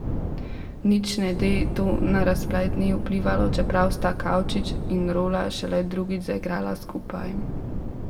Nič ne de, to na razplet ni vplivalo, čeprav sta Kavčič in Rola šele drugič zaigrala skupaj.